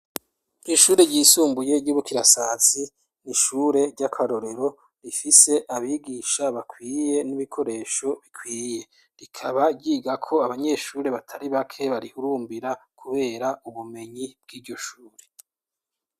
Ishure ryisumbuye ry'iBukirasasi n'ishure ry'akarorero rifise abigisha bakwiye n'imikoresho ikwiye, rikaba ryigako abanyeshure batari bake barihurumbira kubera ubumenyi bw'iryo shure.